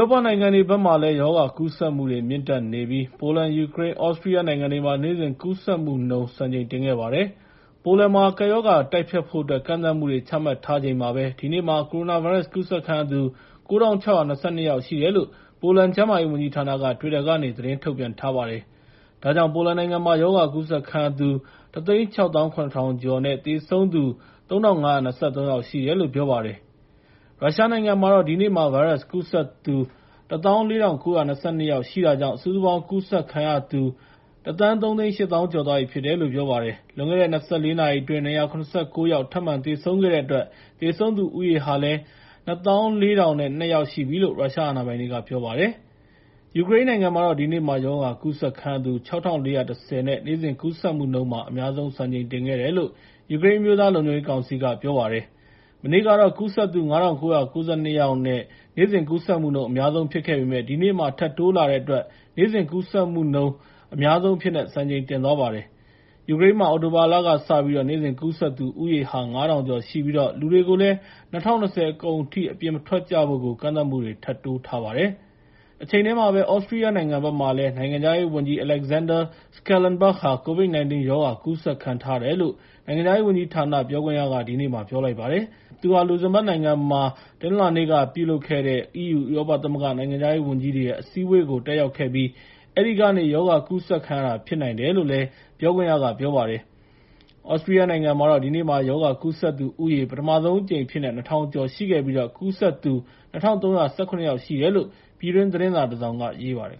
ောပနိုင်ငံတွေဘက်မှာ ရောဂါကူးစက်မှုတွေ မြင့်တက်ခဲ့ပြီး ပိုလန်၊ ယူကရိန်းနဲ့ သြစတြီးယားနိုင်ငံမှာတော့ နေ့စဉ်ကူးစက်မှုနှုန်းမှာ စံချိန်တင်ခဲ့ပါတယ်။ ပိုလန်မှာ ကပ်ရောဂါကို တိုက်ဖျက်ဖို့အတွက် ကန့်သတ်မှုတွေ ချမှတ်ထားနေချိန်မှာပဲ ဒီနေ့မှာ ကိုရိုနာဗိုင်းရပ်စ် ကူးစက်ခံရသူ ၉,၆၂၂ ယောက်ရှိတယ်လို့ ပိုလန်ကျန်းမာရေးဝန်ကြီးဌာနက တွစ်တာကနေ သတင်းထုတ်ပြန်ထားပါတယ်။ ဒါကြောင့် ပိုလန်နိုင်ငံမှာ ရောဂါကူးစက်ခံရသူ ၁၆၇,၀၀၀ ကျော်နဲ့ သေဆုံးသူ ၃,၅၂၃ ယောက်ရှိတယ်လို့ ပြောပါတယ်။ ရုရှားနိုင်ငံမှာတော့ ဒီနေ့မှာ ဗိုင်းရပ်စ်ကူးစက်သူ ၁၄,၉၂၂ ယောက်ရှိတာကြောင့် စုစုပေါင်း ရောဂါကူးစက်ခံရသူ ၁,၃၈၀,၀၀၀ ကျော်သွားပြီလို့ ပြောပါတယ်။ ဒ့ါအပြင် လွန်ခဲ့တဲ့ ၂၄ နာရီအတွင်း ၂၇၉ ယောက် ထပ်မံသေဆုံးခဲ့တဲ့အတွက် သေဆုံးသူဦးရေ ၂၄,၀၀၂ ယောက်ရှိပြီလို့ ရုရှားအာဏာပိုင်တွေက ပြောပါတယ်။ ယူကရိန်းနိုင်ငံမှာတော့ ဒီနေ့မှာ ရောဂါကူးစက်ခံရသူ ၆,၄၁၀ နဲ့ နေ့စဉ်ကူးစက်မှုမှာ အများဆုံး စံချိန်တင်ခဲ့တယ်လို့ ယူကရိန်း အမျိုးသားလုံခြုံရေးကောင်စီက ပြောလိုက်ပါတယ်။ မနေ့ကတော့ ကူးစက်သူ ၅,၉၉၂ နဲ့ နေ့စဉ်ကူးစက်မှု အများဆုံး ဖြစ်ခဲ့ပေမယ့် ဒီနေ့မှာ ထပ်တိုးလာတဲ့အတွက် နေ့စဉ်ကူးစက်မှုမှာ အများဆုံးဖြစ်သွားပါတယ်။ ယူကရိန်းမှာ အခု အောက်တိုဘာလကစပြီး နေ့စဉ်ကူးစက်သူ ဦးရေဟာ ၅,၀၀၀ ကျော်ရှိပြီး လူတွေကိုလည်း ၂၀၂၀ အကုန်ထိ အပြင်မထွက်ကြဖို့ ကန့်သတ်မှုတွေ ထပ်တိုးလိုက်ပါတယ်။ တချိန်တည်းမှာပဲ သြစတြီးယားနိုင်ငံဘက်မှာလည်း နိုင်ငံခြားရေးဝန်ကြီး Alexander Schallenberg COVID-19 ရောဂါ ကူးစက်ခံထားရတယ်လို့ နိုင်ငံခြားရေးဝန်ကြီးဌာန ပြောခွင့်ရက ဒီနေ့ပြောပါတယ်။ သူဟာ လူဇင်ဘတ်နိုင်ငံမှာ တနင်္လာနေ့ကလုပ်တဲ့ EU ဥရောပသမဂ္ဂ နိုင်ငံခြားရေးဝန်ကြီးတွေရဲ့ အစည်းအဝေးကို တက်ရောက်ခဲ့ပြီး အဲဒီကနေ ရောဂါကူးစက်ခံရတာ ဖြစ်နိုင်တယ်လို့လည်း ပြောပါတယ်။ သြစတြီးယားနိုင်ငံမှာတော့ ဒီနေ့မှာ ရောဂါကူးစက်သူဦးရေဟာ ပထမဆုံးအကြိမ်အဖြစ်နဲ့ ၂,၀၀၀ ကျော်ရှိခဲ့ပြီး ကူးစက်သူ ၂,၃၁၇ ယောက် ရှိတယ်လို့ ပြည်တွင်းသတင်းစာတစောင်က ရေးပါတယ်